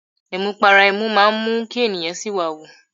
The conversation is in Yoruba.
Amupara ẹmu máa ń mú kí ènìyàn siwawu.